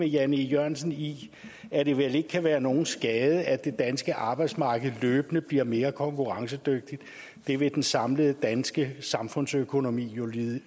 jan e jørgensen i at det vel ikke kan være nogen skade at det danske arbejdsmarked løbende bliver mere konkurrencedygtigt det vil den samlede danske samfundsøkonomi jo